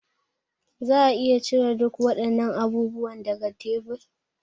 Za a iya cire duk waɗannan abubuwan daga tebur?